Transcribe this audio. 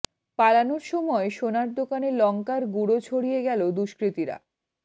পালানোর সময় সোনার দোকানে লঙ্কার গুড়ো ছড়িয়ে গেল দুষ্কৃতীরা